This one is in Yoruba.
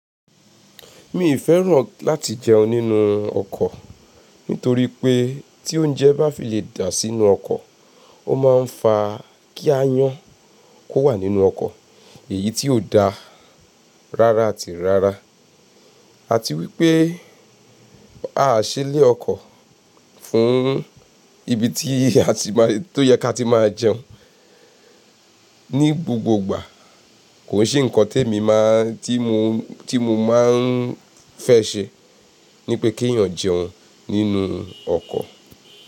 Mi ì fẹ́ràn láti jẹun nínú ọkọ̀ nítorí pé tí oúnjẹ bá fi lè dà sínú ọkọ̀, ó máa ń fa kí aayàn ki ó wà nínú ọkọ̀ èyí tí ò da rara àti rara. Àti wípé á ṣe ilé ọkọ̀ fún ibi tí a ti máa tó yẹ ká ti máa jẹun. Ni gbogbo igbà kò se ǹkan tí èmi máa tí mo tí mo máa ń fẹ́ ṣe ní pé kí èèyàn jẹun nínú ọkọ̀.